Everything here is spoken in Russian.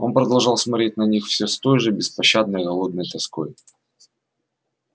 он продолжал смотреть на них всё с той же беспощадной голодной тоской